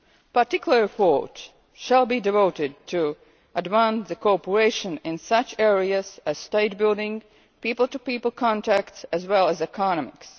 Particular efforts shall be devoted to advance cooperation in such areas as state building, people to people contacts, as well as economics.